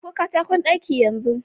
Ɗauko katakon ɗaki yanzu